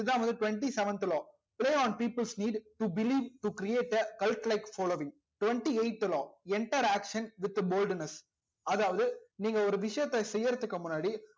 இது தா வந்து twenty seventh law play on peoples need to believe to create a calculate following twenty eighth law enter action with boldness action அதாவது நீங்க ஒரு விஷயத்த செய்யறத்துக்கு முன்னாடி